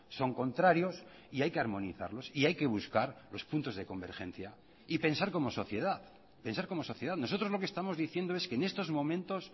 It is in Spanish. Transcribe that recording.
son contrarios y hay que armonizarlos y hay que buscar los puntos de convergencia y pensar como sociedad pensar como sociedad nosotros lo que estamos diciendo es que en estos momentos